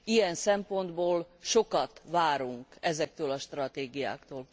Ilyen szempontból sokat várunk ezektől a stratégiáktól.